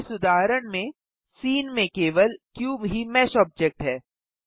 इस उदाहरण में सीन में केवल क्यूब ही मेश ऑब्जेक्ट है